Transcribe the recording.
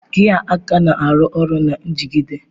Gia aka na-arụ ọrụ na njigide.